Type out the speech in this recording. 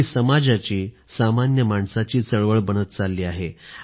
ती समाजाची सामान्य माणसाची चळवळ बनत चालली आहे